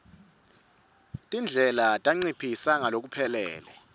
tindlela tanciphisa ngalokuphelele